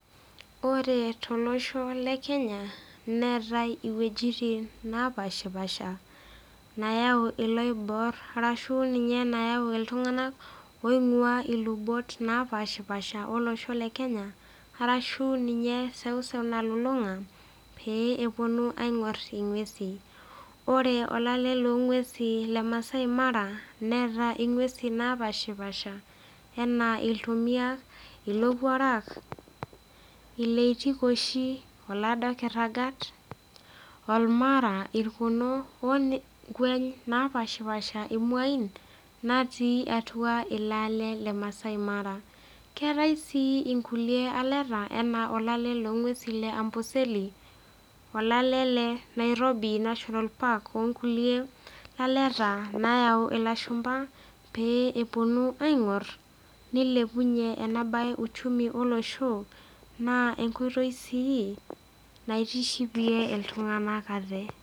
Ore tolosho le Kenya neetai iwuejit naapaashipaasha nayau iloibor arashu ninye nayau iltung'anak oing'ua ilubot napaashipaasha olosho le Kenya arashu ninye eseuseu nalulung'a pee eponu aing'or ing'uesin. Ore olale loo ng'uesin le Masai Mara neeta ing'uesin naapashipaasha enaa iltomia, ilowuarak, ileitikoshi, olaado kiragat, olmara, irkono oo ng'ueny napaashipaasha imauin natii atua ilo ale le Masai mara. Keetai sii inkulie aleta enaa olale loo ng'uesin le Amboseli, olale le Nairobi National Park oo nkulie laleta nayau ilashumba pee eponu aing'or nilepunye ena baye uchumi olosho naa enkoitoi sii naitishipie iltung'anak ate.